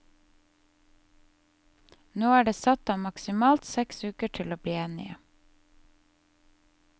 Nå er det satt av maksimalt seks uker til å bli enige.